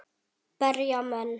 Berja menn?